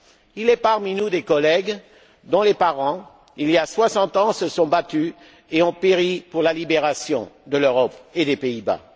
Il est parmi nous des collègues dont les parents, il y a soixante ans, se sont battus et ont péri pour la libération de l'Europe et des Pays Bas.